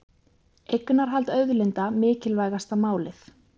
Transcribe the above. Eignarhald auðlinda mikilvægasta málið